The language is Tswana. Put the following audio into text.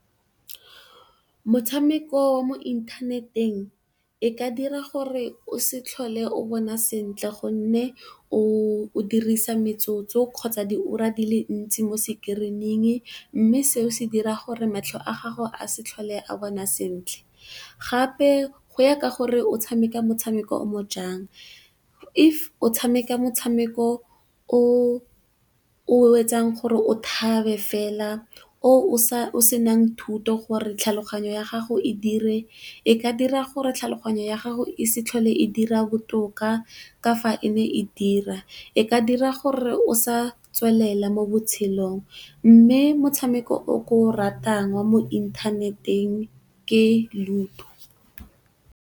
Motshameko wa mo inthaneteng e ka dira gore o se tlhole o bona sentle gonne o dirisa metsotso, kgotsa diura di le ntsi mo screening. Mme, seo se dira gore matlho a gago a se tlhole a bona sentle, gape go ya ka gore o tshameka motshameko o ntseng jang. If o tshameka motshameko o o etsang gore o thabe fela o o se nang thuto gore tlhaloganyo ya gago e dire e ka dira gore tlhaloganyo ya gago e se tlhole e dira botoka ka fa e ne e dira, e ka dira gore o sa tswelela mo botshelong mme, motshameko o o ke o ratang wa mo inthaneteng ke Ludo.